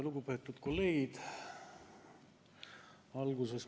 Lugupeetud kolleegid!